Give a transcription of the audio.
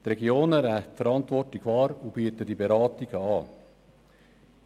Die Regionen nehmen die Verantwortung wahr und bieten diese Beratung an.